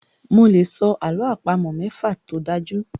Mo lè sọ àlọ́ àpamọ̀ mẹ́fa tó dájú.